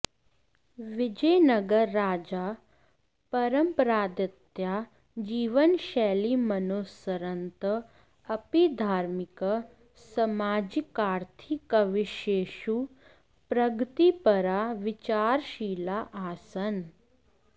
विजयनगर राजाः परम्परादीत्या जीवनशैलीमनुसरन्तः अपि धार्मिक सामाजिकार्थिकविषयेषु प्रगतिपराः विचारशीलाः आसन्